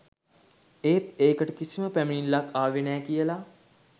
ඒත් ඒකට කිසිම පැමිණිල්ලක් ආවෙ නෑ කියලා